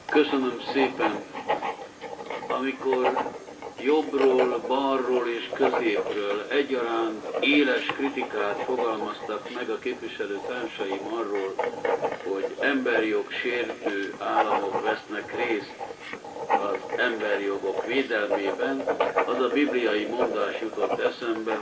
Amikor jobbról, balról és középről egyaránt éles kritikát fogalmaztak meg a képviselőtársaim arról, hogy emberi jog sértő államok vesznek részt az emberi jogok védelmében, az a bibliai mondás jutott eszembe, hogy ha a só ízét veszti,